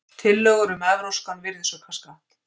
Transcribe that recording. Tillögur um evrópskan virðisaukaskatt